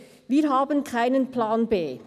«Wir haben keinen Plan B.